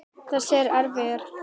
Þessi er erfið.